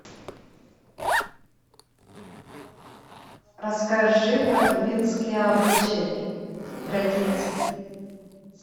расскажи про тувинские обычаи традиции